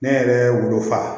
Ne yɛrɛ wolo fa